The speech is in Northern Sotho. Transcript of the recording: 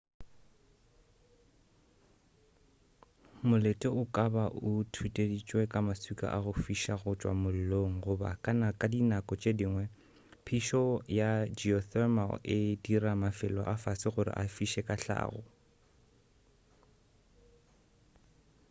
molete o ka ba o thuteditšwe ka maswika a go fiša go tšwa mollong goba ka di nako tše dingwe phišo ya geothermal e dira mafelo a fase gore a fiše ka hlago